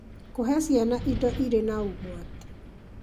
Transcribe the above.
Kũhe ciana indo irĩ na ũgwati: